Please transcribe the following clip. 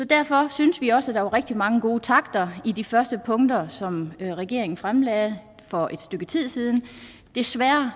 derfor synes vi også at der var rigtig mange gode takter i de første punkter som regeringen fremlagde for et stykke tid siden desværre